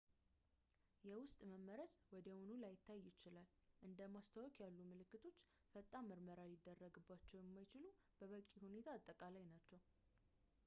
የውስጥ መመረዝ ወዲያውኑ ላይታይ ይችላል እንደ ማስታወክ ያሉ ምልክቶች ፈጣን ምርመራ ሊደረግባቸው የማይችሉ በበቂ ሁኔታ አጠቃላይ ናቸው